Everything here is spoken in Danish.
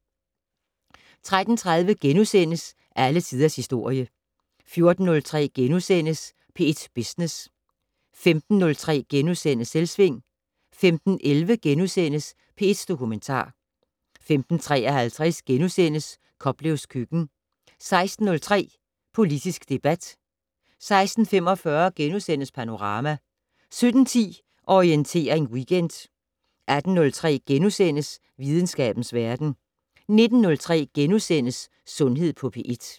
13:30: Alle Tiders Historie * 14:03: P1 Business * 15:03: Selvsving * 15:11: P1 Dokumentar * 15:53: Koplevs køkken * 16:03: Politisk debat 16:45: Panorama * 17:10: Orientering Weekend 18:03: Videnskabens Verden * 19:03: Sundhed på P1 *